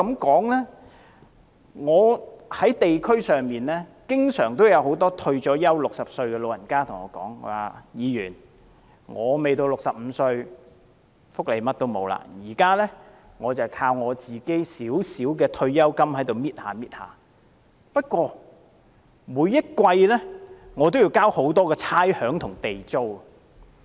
在我所屬的地區，經常有一些已退休並年屆60歲的長者對我說："議員，我未到65歲，甚麼福利也沒有，現在我只靠自己微薄的退休金逐少逐少地使用，不過每季我也要繳交很多差餉和地租。